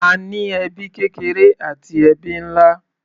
A ní ẹbí kékeré àti ẹbí nlá.